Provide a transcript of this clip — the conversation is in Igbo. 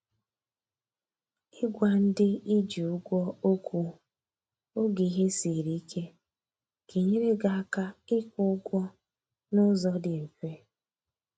i gwa ndị ị ji ụgwọ okwu oge ihe siri ike ga enyere gị aka ị kwụ ụgwọ na ụzọ dị mfe